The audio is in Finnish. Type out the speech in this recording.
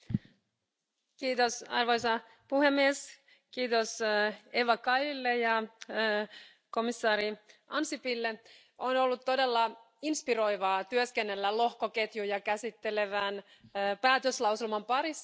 Arvoisa puhemies, kiitos Eva Kailille ja komissaari Ansipille, on ollut todella inspiroivaa työskennellä lohkoketjuja käsittelevän päätöslauselman parissa täällä parlamentissa.